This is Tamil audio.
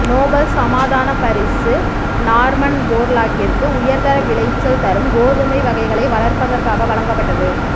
நோபல் சமாதான பரிசு நார்மன் போர்லாக்கிற்கு உயர் விளைச்சல் தரும் கோதுமை வகைகளை வளர்ப்பதற்காக வழங்கப்பட்டது